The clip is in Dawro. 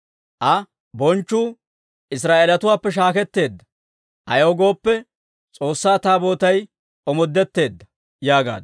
Aa, «Bonchchuu Israa'eelatuwaappe shaakketteedda; ayaw gooppe, S'oossaa Taabootay omoodetteedda» yaagaaddu.